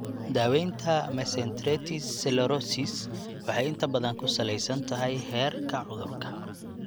Daawaynta mesenteritis sclerosis waxay inta badan ku saleysan tahay heerka cudurka.